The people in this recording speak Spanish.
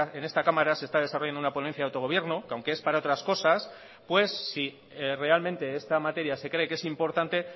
en esta cámara se está desarrollando una ponencia de autogobierno que aunque es para otras cosas pues si realmente esta materia se cree que es importante